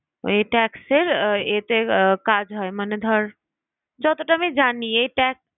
এ tax এর আহ এতে কাজ হয়। মানে ধর, যতটা আমি জানি এই ta~